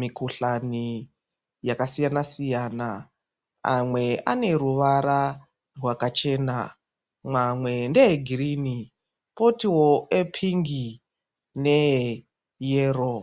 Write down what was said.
mikuhlani yakasiyana siyana. Amwe ane ruvara rwakachena. Mamwe ndeegirini, kotiwo epingi neeyero.